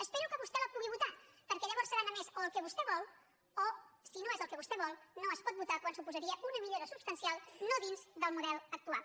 espero que vostè la pugui votar perquè llavors serà només o el que vostè vol o si no és el que vostè vol no es pot votar quan suposaria una millora substancial no dins del model actual